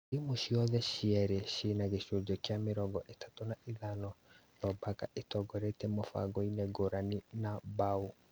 Timũ ciothe cierĩ cĩĩna gĩcunjĩ gĩa mĩrongo ĩtatũ na ithano no Barca ĩtongoretie na mũbango-inĩ ngũrani na mbaũ